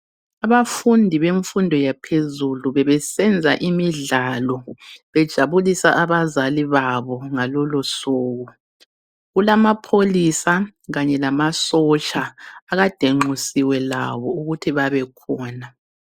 Abafundi bemfundo yaphezulu bebesenza imidlalo bejabulisa abazali babo ngalolo suku kulamapholisa kanye lamasotsha akade benxusiwe labo ukuthi babe khona.